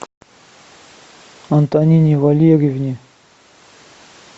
антонине валерьевне